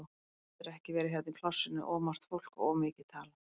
Hann getur ekki verið hérna í plássinu, of margt fólk og of mikið talað.